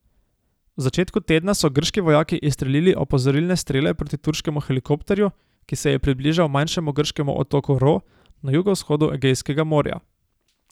V začetku tedna so grški vojaki izstrelili opozorilne strele proti turškemu helikopterju, ki se je približal manjšemu grškemu otoku Ro na jugovzhodu Egejskega morja.